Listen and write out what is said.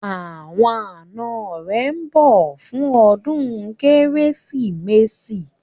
Àwọn ànọ́ rẹ̀ ńbọ̀ fún ọdún Kérésìmesì